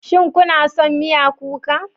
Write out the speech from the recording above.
Shin kuna son miya kuka?